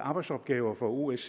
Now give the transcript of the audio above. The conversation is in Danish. arbejdsopgaver for osce